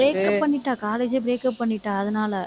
breakup பண்ணிட்டா college ஏ breakup பண்ணிட்டா அதனால.